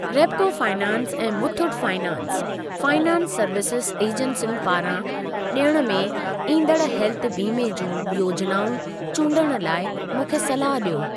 Repco finance ऐं Muthoot finance, finance services एजेंसियुनि पारां ॾियण में ईंदड़ हेल्थ बीमे जूं योजनाऊं चूंडण लाइ मूंखे सलाह ॾियो।